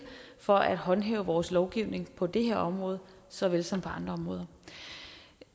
for at håndhæve vores lovgivning på det her område såvel som på andre områder